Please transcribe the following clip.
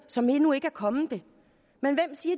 som endnu ikke er kommet det men hvem siger